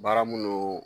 Baara minnu